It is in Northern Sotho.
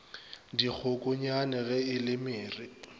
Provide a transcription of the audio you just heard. dikgokonyane ge e le mere